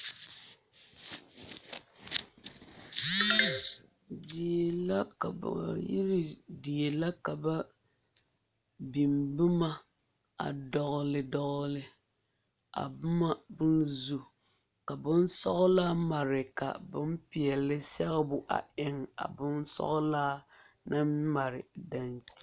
Die la ka ba yiri die la ka ba biŋ boma a dɔgle dɔgle a boma zu ka boŋ sɔglaa mare ka boŋ peɛle sɛgebo a eŋ a boŋ sɔglaa naŋ mare daŋkyini.